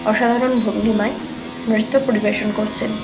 অসাধারণ ভঙ্গিমায় নৃত্য পরিবেশন করছেন।